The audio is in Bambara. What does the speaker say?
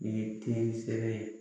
Nin ye ye